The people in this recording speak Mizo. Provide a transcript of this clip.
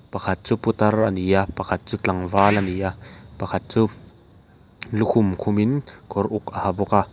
pakhat chu putar ani a pakhat chu tlangval ani a pakhat chu lukhum khum in kawr uk a ha bawk a.